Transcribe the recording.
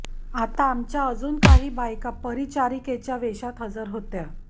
आत आमच्या अजून काही बायका परिचारिकेच्या वेषात हजर होत्या